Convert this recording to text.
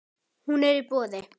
Hún er í boði.